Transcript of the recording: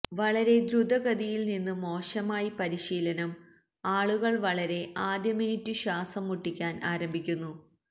വളരെ ദ്രുതഗതിയിൽ നിന്ന് മോശമായി പരിശീലനം ആളുകൾ വളരെ ആദ്യ മിനിറ്റ് ശ്വാസം മുട്ടിക്കാൻ ആരംഭിക്കുന്നു